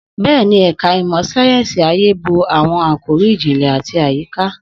Bẹ́ẹ̀ni, ẹ̀ka ìmọ̀ sáyẹ́sì ayé bo àwọn àkòrí ìjìnlẹ̀ àti àyíká.